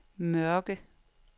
Mørke